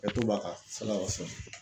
hakɛto b'a kan